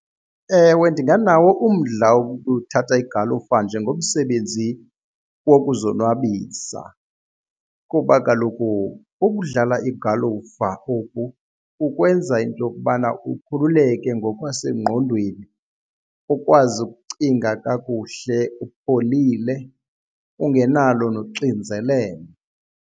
Ewe, ndinganawo umdla wokuthatha igalufa njengomsebenzi wokuzonwabisa kuba kaloku ukudlala igalufa kukwenza into yokubana ukhululeke ngokwasengqondweni, ukwazi ukucinga kakuhle upholile ungenalo noxinzelelo.